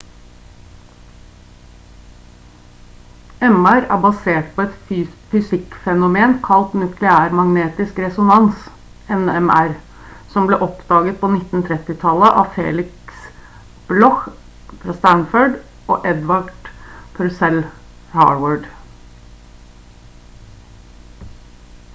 mr er basert på et fysikk-fenomen kalt nukleærmagnetisk resonans nmr som ble oppdaget på 1930-tallet av felix bloch stanford og edvard purcell harvard